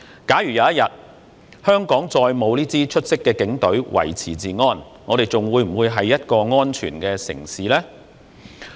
假如有一天，香港再沒有這支出色的警隊維持治安，我們仍會是安全的城市嗎？